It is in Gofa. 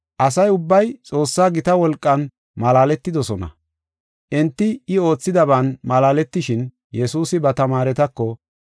Asa ubbay Xoossaa gita wolqan malaaletidosona. Enti I oothidaban malaaletishin, Yesuusi ba tamaaretako,